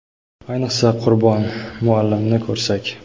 Ayniqsa, Qurbon muallimni ko‘rsak.